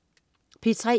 P3: